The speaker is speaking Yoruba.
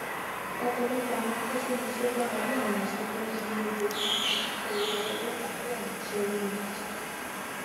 ọpọlọpọ àwọn akọṣẹmọṣẹ gbarale awọn iṣẹ tọ ń sanwó lójoojúmọ bíi kíkọ orí afẹfẹ tabi àwọn iṣẹ ririn ajá